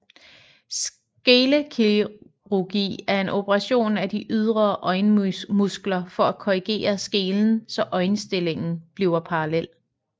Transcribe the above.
Skelekirurgi er en operation af de ydre øjenmuskler for at korrigere skelen så øjenstillingen bliver parallel